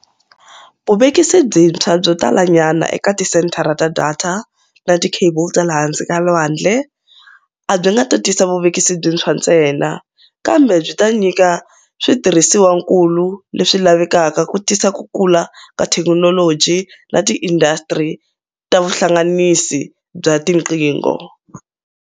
Vuvekisi byintshwa byo talanyana eka tisenthara ta data na tikhebulu ta le hansi ka lwandle a byi nga tisi vuvekisi byintshwa ntsena, kambe byi ta nyika switirhisiwakulu leswi lavekaka ku tisa kukula ka thekinoloji na tiindasitiri ta vuhlanganisi bya tiqingho.